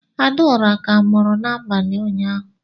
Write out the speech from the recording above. Adaora ka muru n'abali ụnyaahụ.